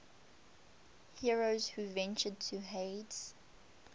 heroes who ventured to hades